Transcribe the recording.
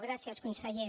gràcies conseller